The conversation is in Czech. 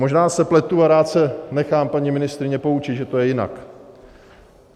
Možná se pletu a rád se nechám, paní ministryně, poučit, že to je jinak.